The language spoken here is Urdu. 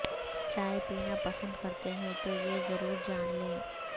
چائے پینا پسند کرتے ہیں تو یہ ضرور جان لیں